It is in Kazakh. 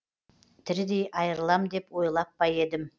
тірідей айырылам деп ойлап па едім